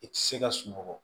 I ti se ka sunɔgɔ